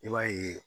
I b'a ye